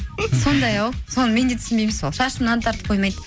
сондай ау соны мен де түсінбеймін сол шашымнан тартып қоймайды